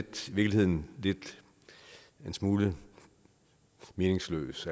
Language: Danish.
virkeligheden en smule meningsløs